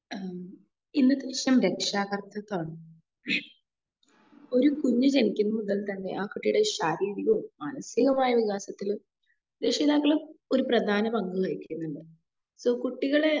ഏഹ് ഇന്നത്തെ വിഷയം രക്ഷാ കർത്തിത്വമാണ്. ഒരു കുഞ്ഞു ജനിക്കുമ്പോൾ മുതൽ തന്നെ ആഹ് കുട്ടിയുടെ ശരീരികവും മാനസികാവുമായ വികാസത്തില് രക്ഷിതാക്കള് ഒരു പ്രധാന പങ്കു വഹിക്കുന്നുണ്ട്. സോ കുട്ടികളെ